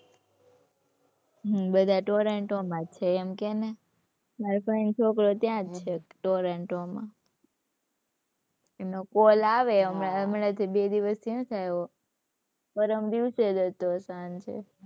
હમ્મ બધા ટોરેન્ટો માં જ છે એમ કે ને. માર ફઈ નો છોકરો ત્યાં જ છે ટોરેન્ટો માં. એનો call આવે હમણાં હમણાં થી બે દિવસ થી નથી આવ્યો. પરમ દિવસે જ હતો સાંજે.